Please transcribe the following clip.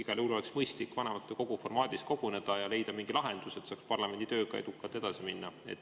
Igal juhul oleks mõistlik vanematekogu formaadis koguneda ja leida mingi lahendus, et saaks parlamendi tööga edukalt edasi minna.